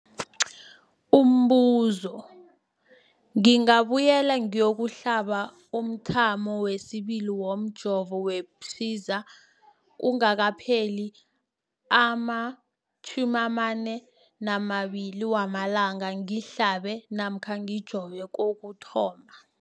Umbuzo, ngingabuyela ngiyokuhlaba umthamo wesibili womjovo we-Pfizer kungakapheli ama-42 wamalanga ngihlabe namkha ngijove kokuthoma.